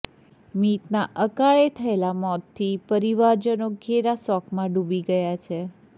મીતના અકાળે થયેલા મોતથી પરિવારજનો ઘેરા શોકમાં ડૂબી ગયા છે